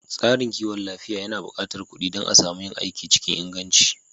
Tsarin kiwon lafiya yana buƙatar kuɗi dan a samu yin aiki cikin inganci